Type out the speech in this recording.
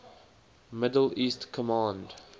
middle east command